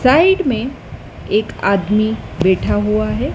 Side में एक आदमी बैठा हुआ है।